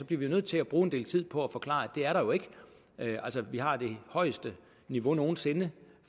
bliver vi jo nødt til at bruge en del tid på at forklare at det er der jo ikke vi har det højeste niveau nogen sinde